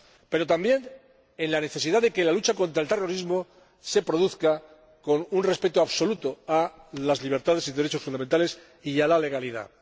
pero también la necesidad de que la lucha contra el terrorismo se lleve a cabo con un respeto absoluto de las libertades y derechos fundamentales y de la legalidad.